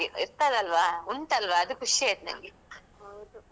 ಹೌದು ಅದು ನೆನಪ್ ಯಾವಾಗ ಮರೆತ್ ಹೋಗುದಿಲ್ಲಲ್ಲ.